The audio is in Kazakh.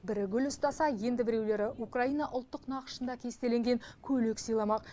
бірі гүл ұстаса енді біреулері украина ұлттық нақышында кестеленген көйлек сыйламақ